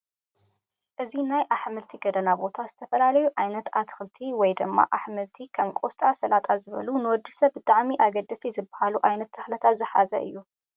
እዚ ናይ ኣሕምልቲ ገደና ቦታ ዘተፈላለዩ ዓይነት ኣትክልቲ ወይ ድማ ኣሕምልቲ ከም ቆስጣ ሰላጣ ዝበሉ ንወዲ ሰብ ብጣዕሚ አገደስቲ ዝበሃሉ ዓይነት ተክልታት ዝሓዘ እዩ፡፡